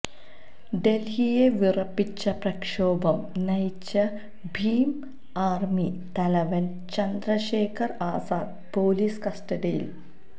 ഡല്ഹിയെ വിറപ്പിച്ച പ്രക്ഷോഭം നയിച്ച ഭീം ആര്മി തലവന് ചന്ദ്രശേഖര് ആസാദ് പൊലീസ് കസ്റ്റഡിയില്